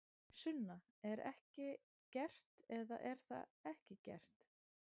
Sunna: Er ekki gert, eða er það ekki gert?